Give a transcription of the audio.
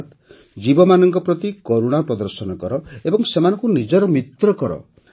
ଅର୍ଥାତ ଜୀବମାନଙ୍କ ପ୍ରତି କରୁଣା ପ୍ରଦର୍ଶନ କର ଏବଂ ସେମାନଙ୍କୁ ନିଜର ମିତ୍ରକର